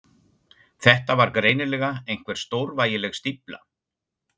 Þetta var greinilega einhver stórvægileg stífla.